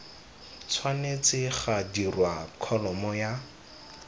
tshwanetse ga dirwa kholomo ya